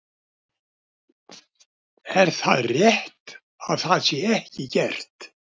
Er það rétt að það sé ekki gert?